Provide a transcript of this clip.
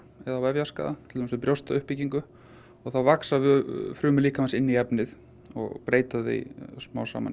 eða til dæmis við brjóstuppbyggingu og þá vaxa frumur líkamans inn í efnið og breyta því smám saman í